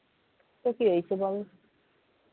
তো কি হয়েছে বল